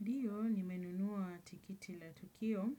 Ndiyo ni menunua tikiti la tukio